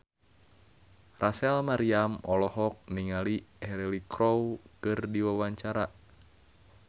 Rachel Maryam olohok ningali Cheryl Crow keur diwawancara